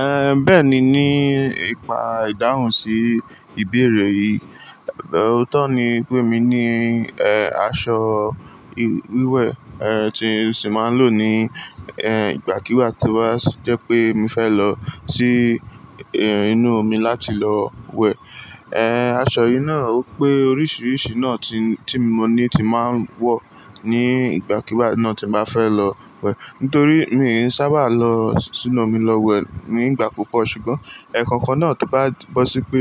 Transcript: Eh, bẹ́ẹ̀ni, ní ìpa ìdáhùn sí ìbéèrè yìí. Ọ̀ótọ́ ni pé mi ní, eh, aṣọ wíwẹ̀, eh, tí mi sì máa ń lò ní, eh, ìgbà kíwà tí wàá jẹ́ pé mi fẹ́ lọ sí, eh, inú omi láti lọ wẹ̀. Eh, aṣọ yìí náà ó pé oríṣiríṣi náà tí, tí mo ní tí máa ń wọ̀ ní ìgbà kíwà náà tí màá fẹ́ lọ wẹ̀. Nítorí mi n sábà lọ sínú omi lọ wẹ̀ nígbà púpọ̀ ṣùgbọ́n ẹkọ̀kan náà tó bá bo si pe